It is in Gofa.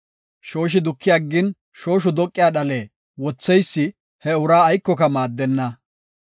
Shooshi duki aggin shooshu doqiya dhale wotheysi he uraa aykoka maaddenna.